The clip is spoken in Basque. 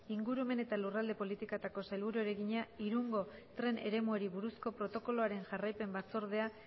ingurumen eta lurralde politikako sailburuari egina irungo tren eremuari buruzko protokoloaren jarraipen batzordea